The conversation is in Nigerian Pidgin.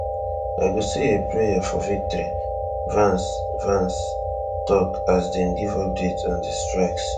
i go say a prayer for victory vance vance tok as dem give updates on di strikes